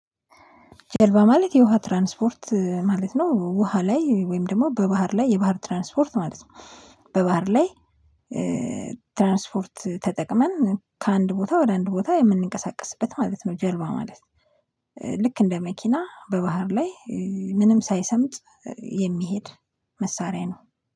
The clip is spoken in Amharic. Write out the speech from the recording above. ጀልባ ማለት የውሃ ትራንስፖርት ማለት ነው። ውሃ ላይ ወይም ደግሞ በባህር ላይ የባህር ትራንስፖርት ማለት ነው። በባህር ላይ ትራንስፖርት ተጠቅመን ከአንድ ቦታ ወደ አንድ ቦታ የምንንቀሳቀስበት ማለት ነው። ጀልባ ማለት ልክ እንደ መኪና በባህር ላይ ምንም ሳይሰምጥ የሚሄድ መሳሪያ ነው።